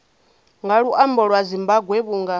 nga luambo lwa zimbambwe vhunga